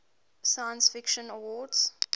science fiction awards